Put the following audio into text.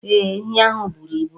Ee, ehi ahụ buru ibu